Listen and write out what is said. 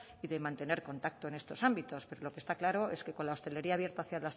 y de mantener contacto en estos ámbitos pero lo que está claro es que con la hostelería abierta hasta